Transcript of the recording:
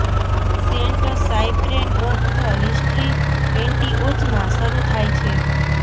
Saint Cyprian of the history Antioch માં શરૂ થાય છે